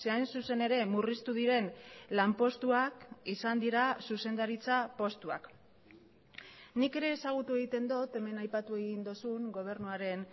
hain zuzen ere murriztu diren lanpostuak izan dira zuzendaritza postuak nik ere ezagutu egiten dut hemen aipatu egin duzun gobernuaren